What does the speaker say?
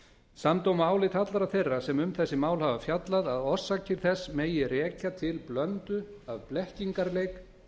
samdóma álit allra þeirra sem um þessi mál hafa fjallað að orsakir þess megi rekja til blöndu af blekkingarleik